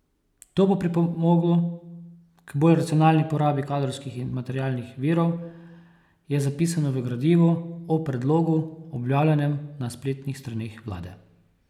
To bo pripomoglo k bolj racionalni porabi kadrovskih in materialnih virov, je zapisano v gradivu o predlogu, objavljenem na spletnih straneh vlade.